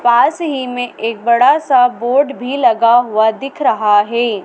पास ही में एक बड़ा सा बोर्ड भी लगा हुआ दिख रहा है।